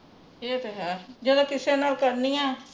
ਇਹ ਤੇ ਹੈ ਜਿਹੜਾ ਕਿਸੇ ਨਾਲ ਕਰਨੀ ਆ